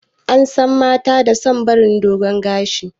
Ansan mata da son barin dogun gashi